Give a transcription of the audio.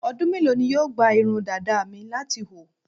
Ọdú mélòó ni yóò gba irun dàda mi láti hù?